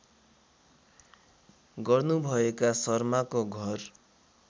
गर्नुभएका शर्माको घर